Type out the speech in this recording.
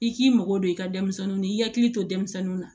I k'i mago don i ka denmisɛnninw na i hakili to denmisɛnninw na